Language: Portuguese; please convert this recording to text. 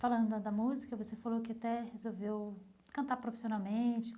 Falando da da música, você falou que até resolveu cantar profissionalmente.